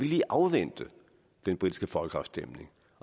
lige afvente den britiske folkeafstemning